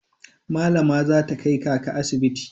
Malama za ta kai kaka asibiti.